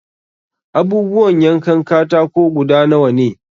Abubuwan yankan katako guda nawa ne?